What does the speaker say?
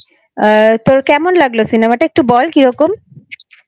তোর কেমন লাগলো Cinemaটা একটু বল কিরকম?